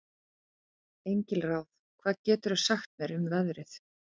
Engilráð, hvað geturðu sagt mér um veðrið?